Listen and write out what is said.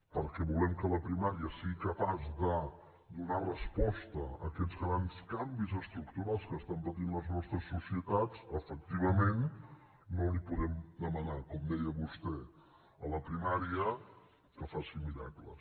perquè volem que la primària sigui capaç de donar resposta a aquests grans canvis estructurals que estan patint les nostres societats efectivament no li podem demanar com ho deia vostè a la primària que faci miracles